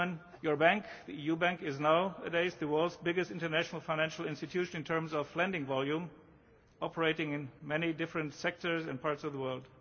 wish. Your bank, the EU bank, is nowadays the world's biggest international financial institution in terms of lending volume, operating in many different sectors in parts of the